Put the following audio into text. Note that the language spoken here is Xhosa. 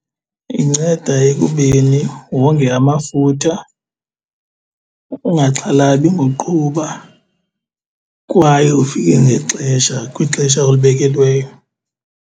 Inceda ekubeni wonge amafutha ungaxhalabi ngoqhuba, kwaye ufike ngexesha kwixesha olibekelweyo.